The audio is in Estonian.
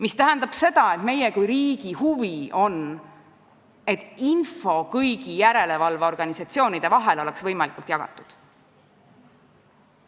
See tähendab seda, et meie kui riigi huvi on, et info oleks kõigi järelevalveorganisatsioonide vahel võimalikult hästi jagatud.